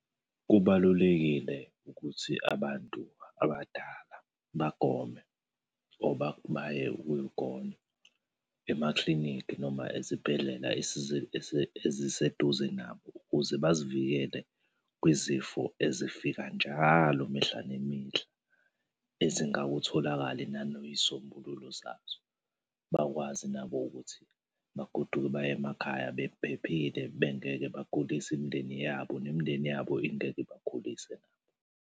Kubalulekile ukuthi abantu abadala bagome or baye ukuyogonywa emaklinikhi noma ezibhedlela eziseduze nabo ukuze bazivikele kwizifo ezifika njalo mihla nemihla ezingawutholakali nanoy'sombululo zazo. Bakwazi nabo ukuthi bagoduke baye emakhaya bephephile bengeke bagulise imindeni yabo, nemindeni yabo ingeke ibagulise nabo.